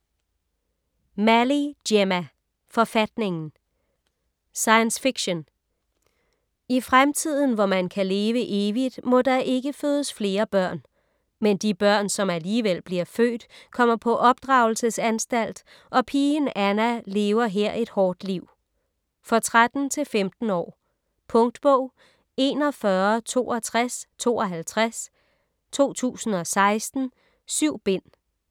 Malley, Gemma: Forfatningen Science fiction. I fremtiden, hvor man kan leve evigt, må der ikke fødes flere børn. Men de børn, som alligevel bliver født kommer på opdragelsesanstalt, og pigen Anna lever her et hårdt liv. For 13-15 år. Punktbog 416252 2016. 7 bind.